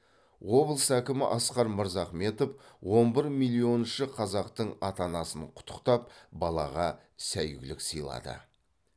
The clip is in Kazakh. облыс әкімі асқар мырзахметов он бір миллионныншы қазақтың ата анасын құттықтап балаға сәйгүлік сыйлады